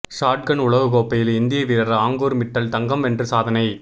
shot கன் உலகக்கோப்பையில் இந்திய வீரர் ஆங்கூர் மிட்டல் தங்கம் வென்று சாதனை